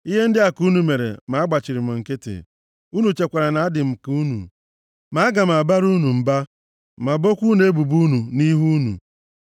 Ihe ndị a ka unu mere ma agbachiri m nkịtị; unu chekwara na adị m ka unu. Ma aga m abara unu mba ma bokwaa unu ebubo unu nʼihu unu.